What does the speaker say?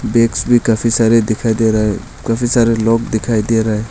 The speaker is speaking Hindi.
बैग्स काफी सारे दिखाई दे रहा है काफी सारे लोग दिखाई दे रहा है।